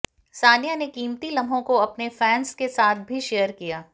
सानिया ने कीमती लम्हों को अपने फैंस के साथ भी शेयर किया है